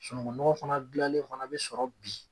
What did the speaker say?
Sunungunɔgɔn fana gilanlen fana bi sɔrɔ bi.